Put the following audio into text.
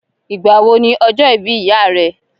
Ìgbà wò ní ọjọ́ ìbí ìyá rẹ?